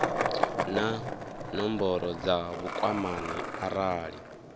na nomboro dza vhukwamani arali